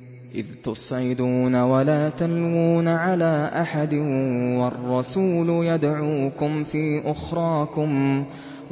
۞ إِذْ تُصْعِدُونَ وَلَا تَلْوُونَ عَلَىٰ أَحَدٍ